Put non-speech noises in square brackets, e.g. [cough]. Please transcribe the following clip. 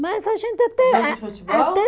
Mas a gente até. [unintelligible] Jogo de futebol? Até